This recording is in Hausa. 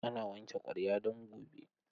Ana wanke ƙwarya don gobe.